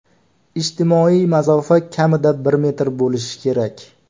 Ijtimoiy masofa kamida bir metr bo‘lishi kerak.